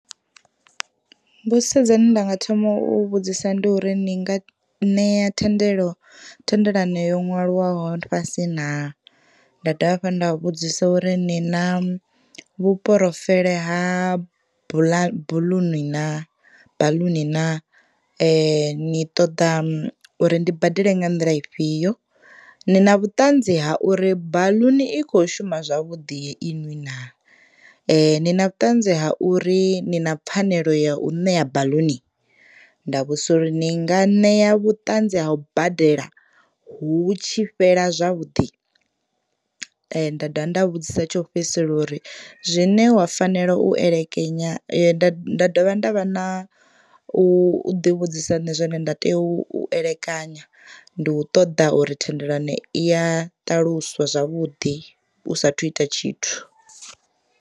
Mbudziso dzine ndanga thoma u vhudzisa ndi uri ni nga ṋea thendelo thendelano yo nwalwaho fhasi naa. Nda dovha hafhu nda vhudzisa uri ni na vhuporofele ha buḽuni na ha baḽuni naa ni ṱoḓa uri ndi badele nga nḓila ifhio ni na vhuṱanzi ha uri baḽuni i kho shuma zwavhuḓi iṅwi naa, ni na vhuṱanzi ha uri ni na pfanelo ya u ṋea baḽuni nda vhudzisa uri ni nga ṋea vhuṱanzi ha u badela hu tshi fhela zwavhuḓi nda dovha nda vhudzisa tsho fhedzisela uri zwine wa fanela u elekanya nda dovha nda vha na u ḓi vhudzisa nṋe zwine nda tea u elekanya ndi u ṱoḓa uri thendelano iya ṱaluswa zwavhuḓi u sathu ita tshithu.